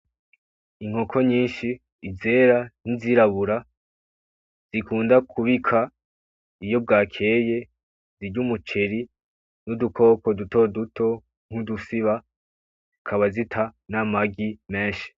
Inkoko nyishi izera n'izirabura zikunda kubika iyo bwakeye ,zirya umuceri n'dukoko duto duto nku dusiba zikaba zita n'amagi meshi .